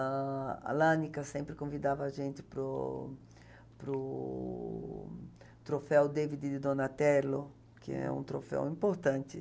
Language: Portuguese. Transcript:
A a Lannica sempre convidava a gente para o para o Troféu David de Donatello, que é um troféu importante.